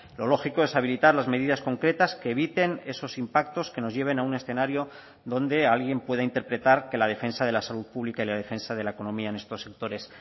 lo lógico es habilitar las medidas concretas que eviten esos impactos que nos lleven a un escenario donde alguien pueda interpretar que la defensa de la salud pública y la defensa de la economía en estos sectores